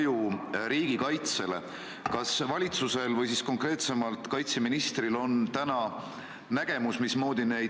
Tšehhi on samuti keelanud üle 100 inimesega kogunemised, elanike arv on üle 10 miljoni.